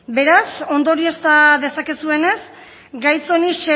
beraz ondoriozta dezakezuenez gai honi